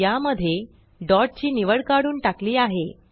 या मध्ये डॉट ची निवड काढून टाकली आहे